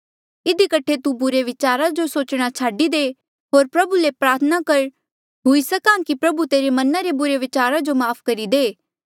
इधी कठे तू बुरे विचारा जो सोचणा छाडी दे होर प्रभु ले प्रार्थना कर हुई सक्हा की प्रभु तेरे मना रे बुरे विचारा जो माफ़ करी दे